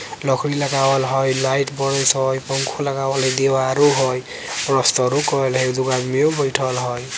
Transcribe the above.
लकड़ी लगावल हई लाइट बडत हई और पंखा लगावल हई । दीवारों हई प्लास्टर कईल हई दुगो आदमीओ बईठल हई |